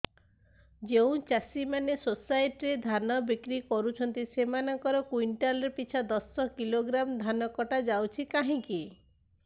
ଯେଉଁ ଚାଷୀ ମାନେ ସୋସାଇଟି ରେ ଧାନ ବିକ୍ରି କରୁଛନ୍ତି ସେମାନଙ୍କର କୁଇଣ୍ଟାଲ ପିଛା ଦଶ କିଲୋଗ୍ରାମ ଧାନ କଟା ଯାଉଛି କାହିଁକି